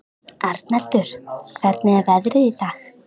Arnaldur, hvernig er veðrið í dag?